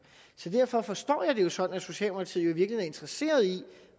derfor forstår jeg det jo sådan at socialdemokratiet jo er interesseret i